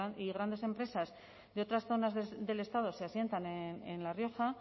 y grandes empresas de otras zonas del estado se asientan en la rioja